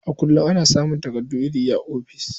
A kullum ana samun takardu iri-iri a ofis.